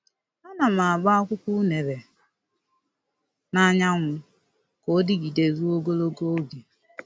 A na m agba akwụkwọ unere n'anyanwu ka ọ dịgide ruo ogologo oge.